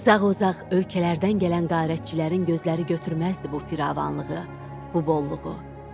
Uzaq-uzaq ölkələrdən gələn qərəçilərin gözləri götürməzdi bu firavanlığı, bu bolluğu.